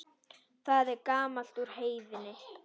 Það er gamalt úr Heiðni!